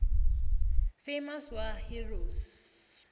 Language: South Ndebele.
famous war heroes